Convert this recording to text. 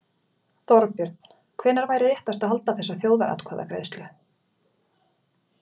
Þorbjörn: Hvenær væri réttast að halda þessa þjóðaratkvæðagreiðslu?